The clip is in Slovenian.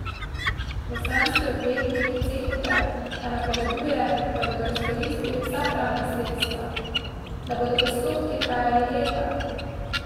Bosanski odvetnik Cekute pa napoveduje, da bodo izkoristili vsa pravna sredstva, da bodo postopki trajali leta.